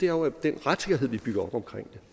jo er den retssikkerhed vi bygger op omkring